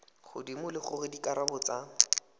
godimo le gore dikarabo tsa